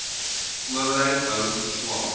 owerheid hou verslae